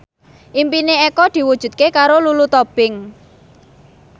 impine Eko diwujudke karo Lulu Tobing